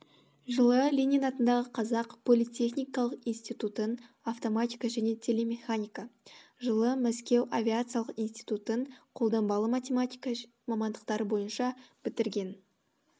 жылы ленин атындағы қазақ политехникалық институтын автоматика және телемеханика жылы мәскеу авиациялық институтын қолданбалы математика мамандықтары бойынша бітірген